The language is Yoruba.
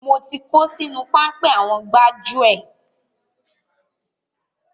Mo ti kó sínú páńpẹ́ àwọn gbájúẹ̀.